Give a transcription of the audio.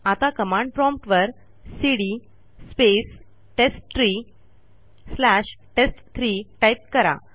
आता command prompt वरcd space टेस्टट्री स्लॅश टेस्ट3 टाईप करा